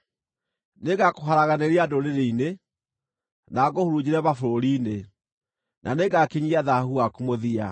Nĩngakũharaganĩria ndũrĩrĩ-inĩ, na ngũhurunjĩre mabũrũri-inĩ; na nĩngakinyia thaahu waku mũthia.